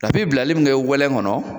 A bi bilali min kɛ wɛnlɛn kɔnɔ